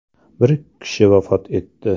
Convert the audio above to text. Bir kishi vafot etdi.